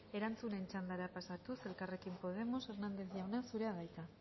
erantzunen txandara pasatuz elkarrekin podemos hernández jauna zurea da hitza